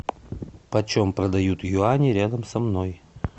почем продают юани рядом со мной